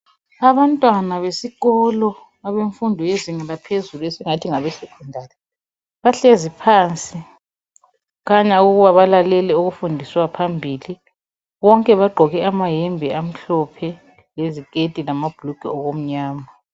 Abantwana besikolo abemfundo yezinga laphezulu esingathi ngabe Secondary, bahlezi phansi khanya ukuba balalele kufundiswayo phambili. Bonke bagqoke amayembe amhlophe leziketi lamabhulugwe okumnyama.